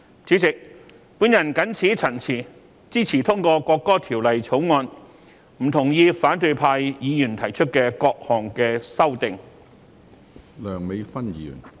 主席，我謹此陳辭，支持通過《條例草案》，不同意反對派議員提出的各項修正案。